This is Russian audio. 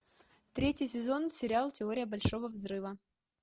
третий сезон сериал теория большого взрыва